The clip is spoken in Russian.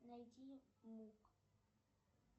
найди мук